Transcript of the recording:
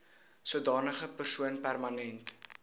sodanige persoon permanent